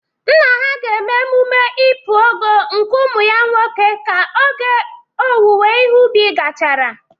Nna ha ga eme emume Ipu Ogo nke umu ya nwoke ka oge owuwe ihe ubi gachara